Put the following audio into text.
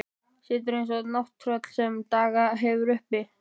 Situr eins og nátttröll sem dagað hefur uppi.